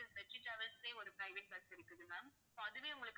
வெற்றி டிராவல்ஸ்லேயே ஒரு private bus இருக்குது ma'amso அதுவே உங்களுக்கு